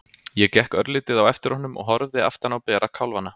Ég gekk örlítið á eftir honum og horfði aftan á bera kálfana.